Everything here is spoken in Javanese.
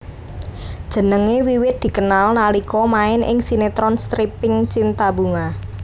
Jenengé wiwit dikenal nalika main ing sinetron stripping cinta bunga